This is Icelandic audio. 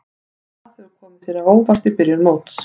Hvað hefur komið þér á óvart í byrjun móts?